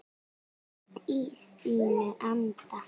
Allt í þínum anda.